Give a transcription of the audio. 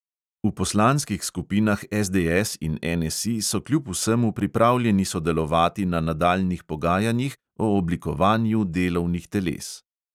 V poslanskih skupinah SDS in NSI so kljub vsemu pripravljeni sodelovati na nadaljnjih pogajanjih o oblikovanju delovnih teles.